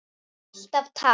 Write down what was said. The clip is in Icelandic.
Alltaf takk.